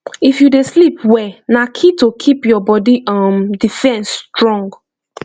if you dey sleep well na key to keep your body um defense strong